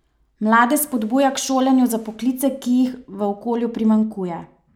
Mlade spodbuja k šolanju za poklice, ki jih v okolju primanjkuje.